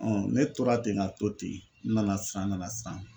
ne tora ten ka to ten n nana siran nana siran